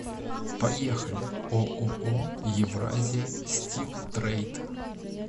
поехали ооо евразия стил трейд